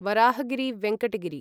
Varahagiri Venkata Giri